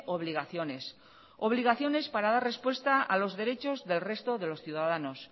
obligaciones obligaciones para dar respuesta a los derechos del resto de los ciudadanos